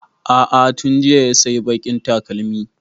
A'a tun jiya ya sayi baƙin takalmin